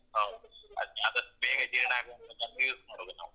ಹೌದ್ ಅದ್ ಆದಷ್ಟ್ ಬೇಗ ಜೀರ್ಣ ಆಗೊತನ್ಕ ನಾವು.